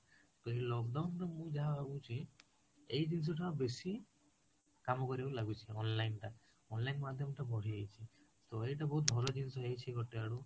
ତ ଏଇ lockdown ମୁଁ ଯାହା ଭାବୁଛି ଏଇ ଜିନିଷ ଟା ବେଶୀ କାମ କରିବାକୁ ଲାଗୁଛି onlineଟା online ମାଧ୍ୟମଟା ବଢି ଯାଇଛି, ତ ଏଇଟା ବହୁତ ବହଳ ଜିନିଷ ହେଇଛି ଗୋଟେ ଆଡୁ